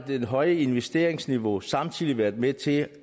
det høje investeringsniveau samtidig været med til